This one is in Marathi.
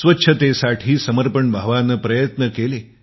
स्वच्छतेसाठी समर्पण भावनेने प्रयत्न केले